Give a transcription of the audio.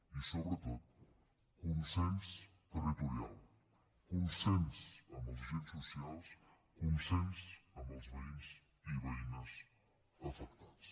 i sobretot consens territorial consens amb els agents socials consens amb els veïns i veïnes afectats